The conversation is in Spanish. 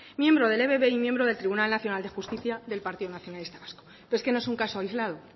miembro del ebb y miembro del tribunal nacional de justicia del partido nacionalista vasco pero es que no es un caso aislado